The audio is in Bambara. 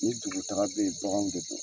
Ni dugutaga be yen baganw mɛ don.